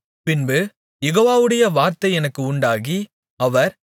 பின்பு யெகோவாவுடைய வார்த்தை எனக்கு உண்டாகி அவர்